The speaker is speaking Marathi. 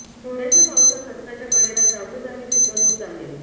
थोड्याशा पावसात रस्त्याच्या कडेला जागोजागी चिखल होत आहे